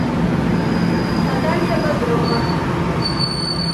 наталья бодрова